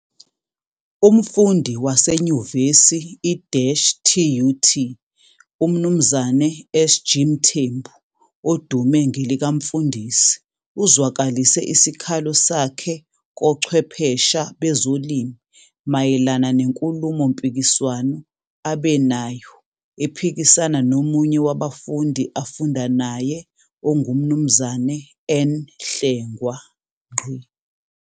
Umfundi wase nyuvesi i-TUT uMnumzane SG Mthembu odume ngelikaMfundisi uzwakalise isikhalo sakhe kochwephesha bezolimi mayelana nenkulumo mpikiswano abe nayo ephikisana nomunye wabafundi afunda naye onguMnumzane N Hlengwa.